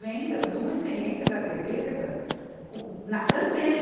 Vem da, de uma experiência da Tereza, co, na francesa.